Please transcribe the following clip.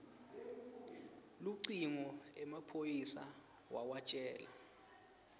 lucingo emaphoyisa wawatjela